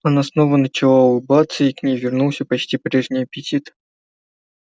она снова начала улыбаться и к ней вернулся почти прежний аппетит